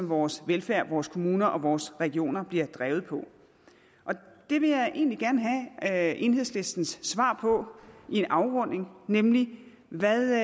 vores velfærd vores kommuner og vores regioner bliver drevet på og det vil jeg egentlig gerne have enhedslistens svar på i en afrunding nemlig hvad